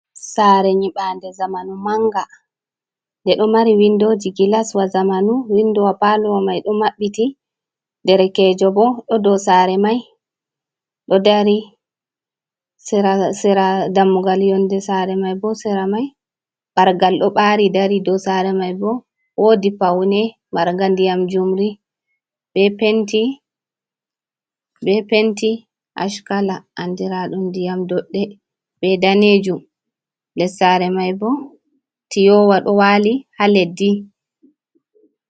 Sare nyibande zamanu manga nde ɗo mari windoji gilaswa zamanu, windowa palowa mai ɗo maɓɓiti. Derekejo bo ɗo dou sare mai ɗo dari sera dammugal. Yonde sare mai bo sera mai ɓargal ɗo ɓari dari dou sare mai bo wodi paune marga ndiyam njumri, be penti ash kala andiraɗum ndiyam doɗɗe be danejum. Les sare mai bo tiyowa ɗo wali ha leddi.